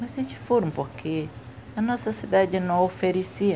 Mas eles foram porque a nossa cidade não oferecia